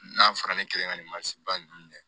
N'a fɔra ne kelen ka nin mansin ba ninnu dɛ